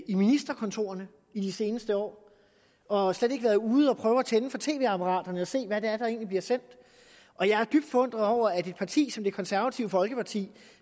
i ministerkontorerne i de seneste år og slet ikke har været ude og prøve at tænde for tv apparaterne og set hvad der egentlig bliver sendt og jeg er dybt forundret over at et parti som det konservative folkeparti